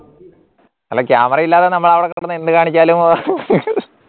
അല്ല camera യില്ലാതെ നമ്മൾ അവിടെ കിടന്ന് എന്ത് കാണിച്ചാലും